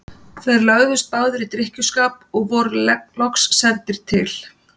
Þeir lögðust báðir í drykkjuskap og voru loks sendir til